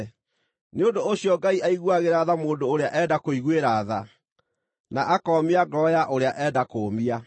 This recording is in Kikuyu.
Nĩ ũndũ ũcio Ngai aiguagĩra tha mũndũ ũrĩa enda kũiguĩra tha, na akoomia ngoro ya ũrĩa enda kũũmia.